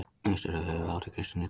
Austur er höfuðátt í kristinni trú.